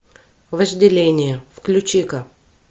вожделение включи ка